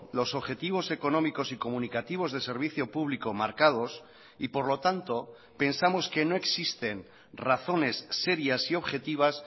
los objetivos económicos y comunicativos de servicio público marcados y por lo tanto pensamos que no existen razones serias y objetivas